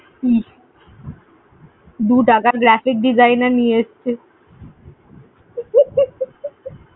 হুম, দু টাকার graphic designer নিয়ে এসেছে।